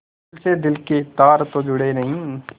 दिल से दिल के तार तो जुड़े नहीं